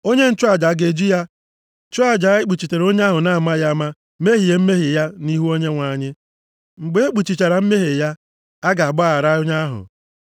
Onye nchụaja a ga-eji ya chụọ aja ikpuchitere onye ahụ na-amaghị ama mehie mmehie ya nʼihu Onyenwe anyị. Mgbe ekpuchichara mmehie ya, a ga-agbaghara onye ahụ.